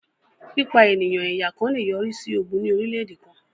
Pípa ènìyàn ẹ̀yà kàn lè yọrí sí ogún ní orílẹ̀-èdè kàn